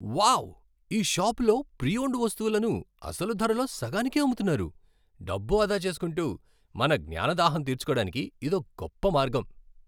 Wow! ఈ షాపులో pre owned వస్తువులను అసలు ధరలో సగానికే అమ్ముతున్నారు. డబ్బు ఆదా చేసుకుంటూ, మన జ్ఞాన దాహం తీర్చుకోడానికి ఇదో గొప్ప మార్గం.